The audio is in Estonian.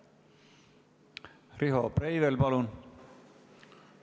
Riho Breivel, palun!